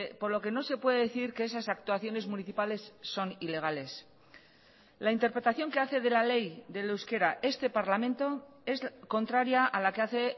por lo que no se puede decir que esas actuaciones municipales son ilegales la interpretación que hace de la ley del euskera este parlamento es contraria a la que hace